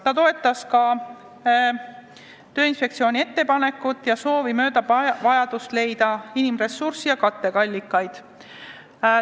Ta toetas ka Tööinspektsiooni ettepanekut ja soovitab vajadust mööda leida inimressurssi ja katteallikaid.